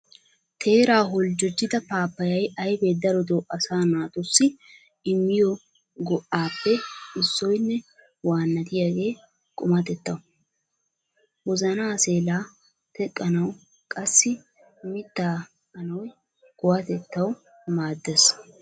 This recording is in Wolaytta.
Teeraa holjjojjida pappayya ayfe darotoo asa naatussi immiyo go"appe issoynne waanatiyaagee qumatettaw, wozana seelaa teqqanaw qassi mittaa anoy kuwatettaw maaddees.